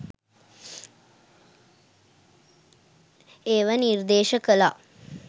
ඒව නිර්දේශ කලා.